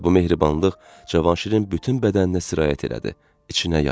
Və bu mehribanlıq Cavanşirin bütün bədəninə sirayət elədi, içinə yayıldı.